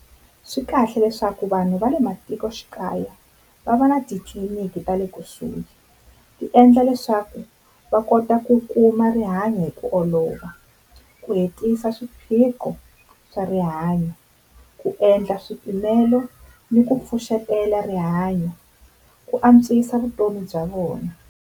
Swi kahle leswaku vanhu va le matikoxikaya va va na titliliniki ta le kusuhi, ti endla leswaku va kota ku kuma rihanyo hi ku olova ku hetisa swiphiqo swa rihanyo, ku endla swipimelo ni ku pfuxetela rihanyo ku antswisa vutomi bya vona.